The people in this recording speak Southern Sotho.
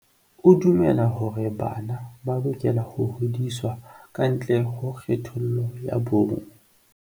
O dumela hore bana ba lokela ho hodiswa ka ntle ho kgethollo ya bong.